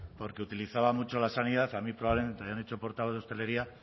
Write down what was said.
porque utilizaba mucho la sanidad y a mí probablemente me hayan hecho portavoz de hostelería